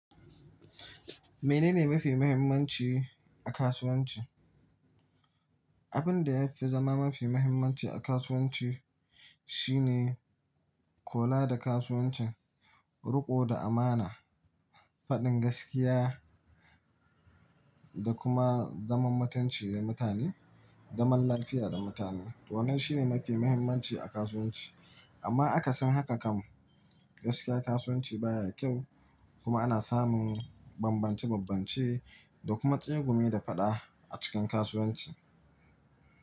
Mene ne mafi muhimmanci a kasuwanci? Abin da ya fi zama mafi muhimmanci a kasuwanci shine kola da kasuwancin, ruƙo da amana, faɗin gaskiya da kuma zaman matanci da mutane, zaman lafiya da mutane. To wannan shi ne mafi muhimmanci a kasuwanci. Amma akasin haka kam, gaskiya kasuwanci baya kyau, kuma ana samun bambance-bambance, da kuma tsegumi da faɗa a cikin kasuwanci.